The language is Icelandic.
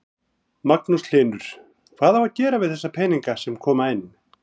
Magnús Hlynur: Hvað á að gera við þessa peninga sem koma inn?